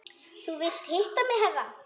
Þú vildir hitta mig herra?